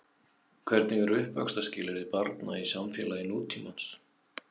Hvernig eru uppvaxtarskilyrði barna í samfélagi nútímans?